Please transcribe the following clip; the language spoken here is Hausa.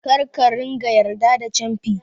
Kar ka ringa yarda da camfi